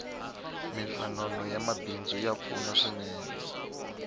minhlangano ya mabidzu ya pfuna swinene